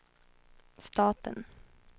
staten